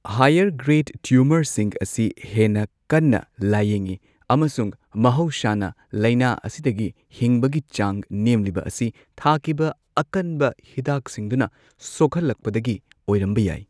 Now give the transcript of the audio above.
Higher grade ꯇ꯭ꯌꯨꯃꯔꯁꯤꯡ ꯑꯁꯤ ꯍꯦꯟꯅ ꯀꯟꯅ ꯂꯥꯌꯦꯡꯉꯤ ꯑꯃꯁꯨꯡ ꯃꯍꯧꯁꯥꯅ ꯂꯩꯅꯥ ꯑꯁꯤꯗꯒꯤ ꯍꯤꯡꯕꯒꯤ ꯆꯥꯡ ꯅꯦꯝꯂꯤꯕ ꯑꯁꯤ ꯊꯥꯈꯤꯕ ꯑꯀꯟꯕ ꯍꯤꯗꯥꯛꯁꯤꯡꯗꯨꯅ ꯁꯣꯛꯍꯟꯂꯛꯄꯗꯒꯤ ꯑꯣꯢꯔꯝꯕ ꯌꯥꯢ꯫